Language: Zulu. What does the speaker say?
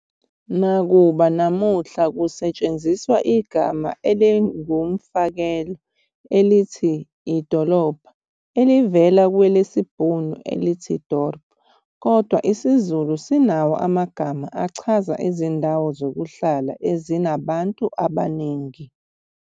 Nakuba namuhla kusetshenziswa igama eliwumfakela elithi "idolobha" elivela kwelesibhunu elithi "dorp", kodwa isiZulu sinawo amagama achaza izindawo zokuhlala ezinabantu abaningi.